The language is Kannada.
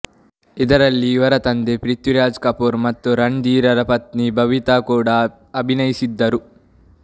ಇದರಲ್ಲಿ ಇವರ ತಂದೆ ಪೃಥ್ವೀರಾಜ್ ಕಪೂರ್ ಮತ್ತು ರಣಧೀರರ ಪತ್ನಿ ಬಬಿತಾ ಕೂಡಾ ಅಭಿನಯಿಸಿದ್ದರು